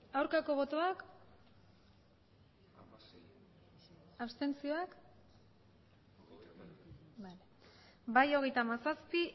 aurkako botoak abstentzioak bai hogeita hamazazpi